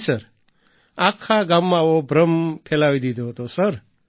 જી sir આખા ગામમાં આવો ભ્રમ ફેલાવી દીધો હતો સર